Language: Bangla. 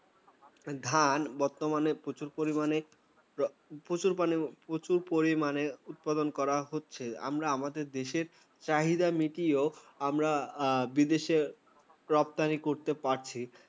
ধান বর্তমানে প্রচুর পরিমানে, প্রচুর মানে প্রচুর পরিমাণে উৎপাদন করা হচ্ছে। আমরা আমাদের দেশের চাহিদা মিটিয়েও আমরা বিদেশে রপ্তানি করতে পারছি।